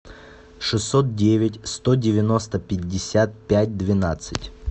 шестьсот девять сто девяносто пятьдесят пять двенадцать